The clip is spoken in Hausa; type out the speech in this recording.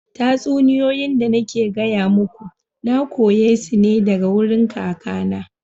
Tatsuniyoyi da nake gaya muku, na koya su daga wurin kakana.